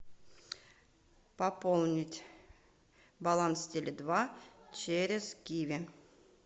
пополнить баланс теле два через киви